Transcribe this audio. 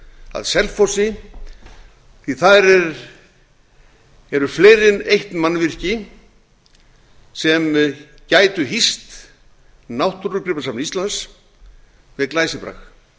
að selfossi því að þar eru fleiri en eitt mannvirki sem gætu hýst náttúrugripasafn íslands með glæsibrag